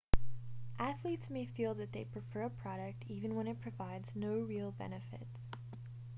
athletes may feel that they prefer a product even when it provides no real benefits